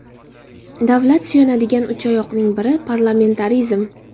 Davlat suyanadigan uchoyoqning biri parlamentarizm.